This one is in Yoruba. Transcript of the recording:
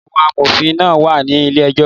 Àwọn amòfin náà wà ní ilé ejọ́